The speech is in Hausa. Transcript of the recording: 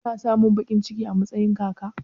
Kuna samun baƙin ciki a matsayin kaka?